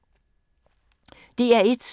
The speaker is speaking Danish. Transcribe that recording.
DR1